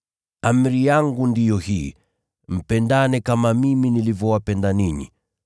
Amri yangu ndiyo hii: Mpendane kama mimi nilivyowapenda ninyi.